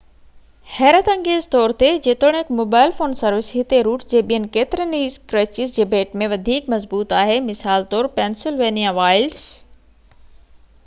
حيرت انگيز طور تي جيتوڻيڪ موبائل فون سروس هتي روٽ جي ٻين ڪيترين ئي اسڪريچز جي ڀيٽ ۾ وڌيڪ مضبوط آهي مثال طور پينسلوانيا وائلڊس